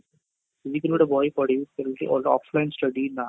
ଯେମିତି କି ଗୋଟେ ବହି ପଢିବି ସେମିତି and offline study ନା